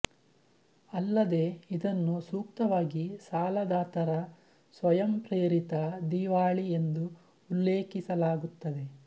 ಅಲ್ಲದೇ ಇದನ್ನು ಸೂಕ್ತವಾಗಿ ಸಾಲದಾತರ ಸ್ವಯಂಪ್ರೇರಿತ ದಿವಾಳಿ ಎಂದು ಉಲ್ಲೇಖಿಸಲಾಗುತ್ತದೆ